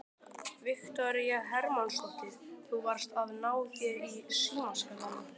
Viktoría Hermannsdóttir: Þú varst að ná þér í símaskránna?